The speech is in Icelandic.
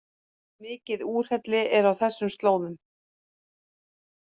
Mikið úrhelli er á þessum slóðum